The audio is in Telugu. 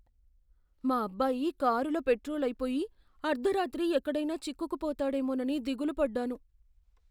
మా అబ్బాయి కారులో పెట్రోల్ అయిపోయి, అర్ధరాత్రి ఎక్కడైనా చిక్కుకుపోతాడేమోనని దిగులు పడ్డాను.